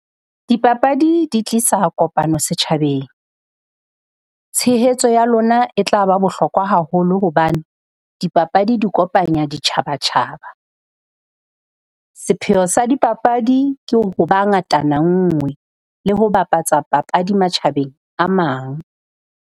Dipapadi di tlisa kopano setjhabeng, tshehetso ya lona e tla ba bohlokwa haholo hobane dipapadi di kopanya ditjhabatjhaba. Sepheo sa dipapadi ke ho bopa ngatana nngwe le ho bapatsa papadi matjhabeng a mang.